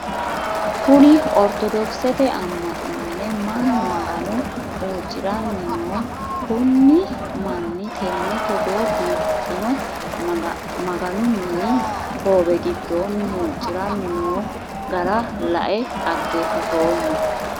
Kunni ortodokisete ama'no minne Manu magano huucirannino kunni manni tenne Togo biifino maganu minni hoowe gidoonni huuciranni noo gara lae xageefatoomo.